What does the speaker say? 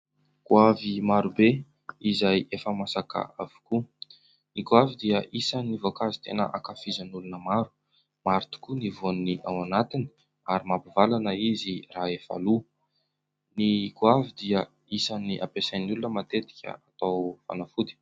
Goavy maro be ! Izay efa masaka avokoa, ny goavy dia isan'ny voankazo tena ankafizan'ny olona maro ; maro tokoa ny voaniny ao anatiny ary mampivalana izy raha efa loa. Ny goavy dia isan'ny ampiasain'ny olona matetika atao fanafody.